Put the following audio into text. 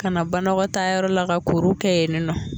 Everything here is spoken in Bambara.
Kana banakɔtayɔrɔ la ka na kurukɛ yen nɔ